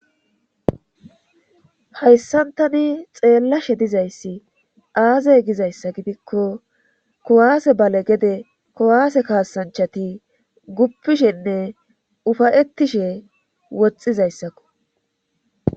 Hayssantani xeellashe dizayssi aazey gizayssa gidikko kowaase bale gede kowaase kaasanchati guppishenne ufayettishe woxxizayssakko